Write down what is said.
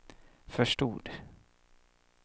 förstod